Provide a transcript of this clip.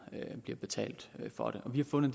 betalt for det vi har fundet